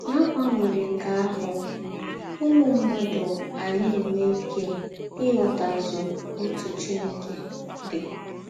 N’àgbanwérè nke àhụ̀, ǔmū mmádụ à nà - enwé íké ị̀ghòtàzù òtú Chìnèkè dị.